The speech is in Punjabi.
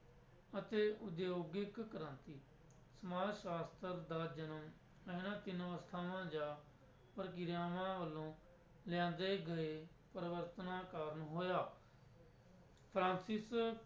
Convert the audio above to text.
ਅਤੇ ਉਦਯੋਗਿਕ ਕ੍ਰਾਂਤੀ, ਸਮਾਜ ਸ਼ਾਸਤਰ ਦਾ ਜਨਮ ਇਹਨਾਂ ਤਿੰਨ ਅਵਸਥਾਵਾਂ ਜਾਂ ਪ੍ਰਕਿਰਿਆਵਾਂ ਵੱਲੋਂ ਲਿਆਂਦੇ ਗਏ ਪਰਿਵਰਤਨਾਂ ਕਾਰਨ ਹੋਇਆ ਫਰਾਂਸਿਸ